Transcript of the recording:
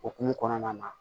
Okumu kɔnɔna na